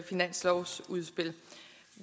finanslovsudspil